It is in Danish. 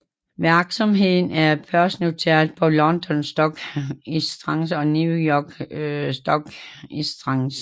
Virksomheden er børsnoteret på London Stock Exchange og New York Stock Exchange